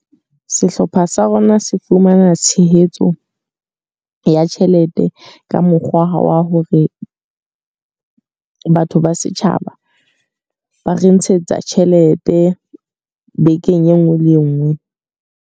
Sehlopha sa rona se fumana tshehetso ya tjhelete ka mokgwa wa hore batho ba setjhaba ba re ntshetsa tjhelete, bekeng e nngwe le e nngwe.